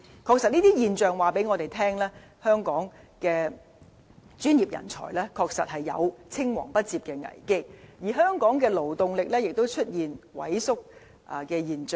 確實，這些現象告訴我們，香港的專業人才有青黃不接的危機，而香港的勞動力亦出現萎縮。